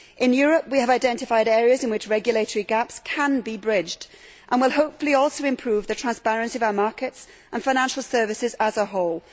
In Europe, we have identified areas in which regulatory gaps can be bridged and will hopefully also improve the transparency of our markets and financial services as a whole.